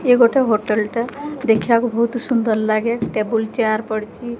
ଇଏ ଗୋଟେ ହୋଟେଲ ଟେ ଦେଖିବାକୁ ବହୁତ ସୁନ୍ଦର ଲାଗେ ଟେବୁଲ ଚେୟାର ପଡିଚି।